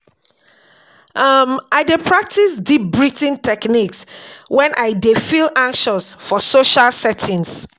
um I dey practice deep breathing techniques wen I dey feel anxious for social settings.